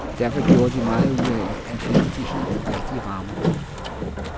Derfor gjorde de meget ud af, at finde de helt rigtige rammer.